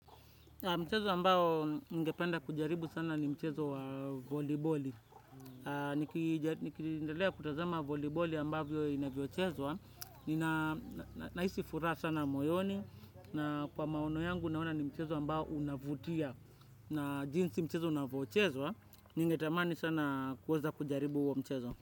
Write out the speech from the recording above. Mchezo ambao ningependa kujaribu sana ni mchezo wa voliboli. Nikiendelea kutazama voliboli ambavyo inavyochezwa, ninahisi furaha sana moyoni, na kwa maono yangu naona ni mchezo ambao unavutia. Na jinsi mchezo unavyochezwa, ningetamani sana kuweza kujaribu huo mchezo.